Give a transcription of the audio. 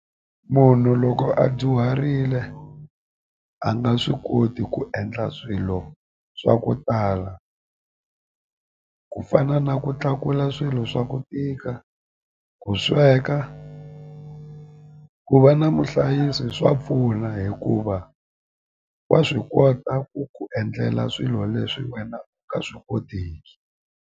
Munhu loko a dyuharile a nga swi koti ku endla swilo swa ku tala ku fana na ku tlakula swilo swa ku tika ku sweka ku va na muhlayisi swa pfuna hikuva wa swi kota ku ku endlela swilo leswi wena u nga swi kotiki.